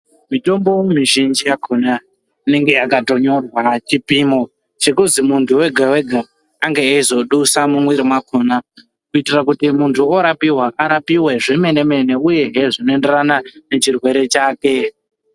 Mitombo mizhinji yakhona, inenge yakatonyorwa chipimo chekuzi muntu ega-ega ange eizodusa mumwiri mwakhona ,kuitira kuti muntu orapiwa arapiwe zvemene-mene ,uyehe zvinoenderana, nechirwere chake.